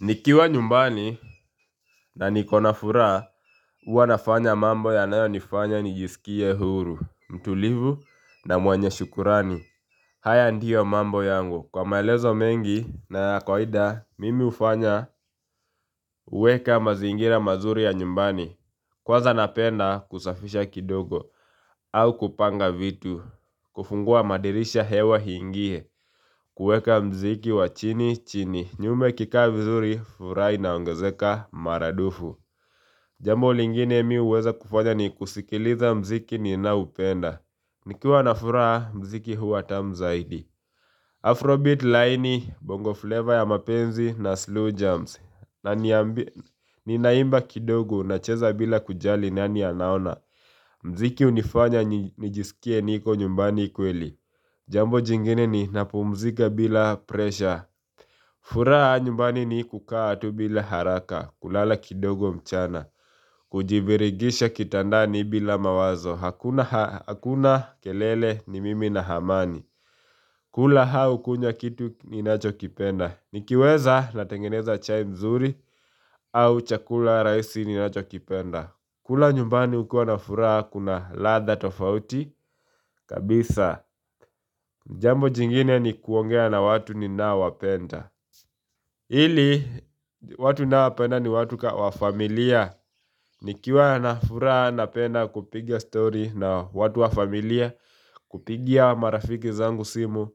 Nikiwa nyumbani na nikona furaha huwa nafanya mambo yanayonifanya nijisikie huru, mtulivu na mwenye shukrani haya ndiyo mambo yangu kwa maelezo mengi na kawada mimi hufanya huweka mazingira mazuri ya nyumbani Kwanza napenda kusafisha kidogo au kupanga vitu kufungua madirisha hewa hiingie kuweka mziki wa chini chini, nyumba ikikaa vizuri furaha inaongezeka maradufu Jambo lingine mi huweza kufanya ni kusikiliza mziki ninaoupenda Nikiwa na furaha mziki huwa tamu zaidi Afrobeat laini bongo flavor ya mapenzi na slow jams na ninaimba kidogo nacheza bila kujali nani anaona Mziki hunifanya nijisikie niko nyumbani kweli Jambo jingine ninapumzika bila presha furaha nyumbani ni kukaa tu bila haraka kulala kidogo mchana Kujibirigisha kitandani bila mawazo Hakuna kelele ni mimi na hamani kula hau kunywa kitu ninachokipenda Nikiweza natengeneza chai mzuri au chakula rahisi ninachokipenda kula nyumbani hukua na furaha kuna ladha tofauti kabisa Jambo jingine ni kuongea na watu ninaowapenda Hili, watu naowapenda ni watu wa familia Nikiwa na furaha napenda kupiga story na watu wa familia kupigia marafiki zangu simu,